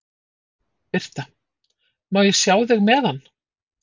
Birta: Má ég sjá þig með hann?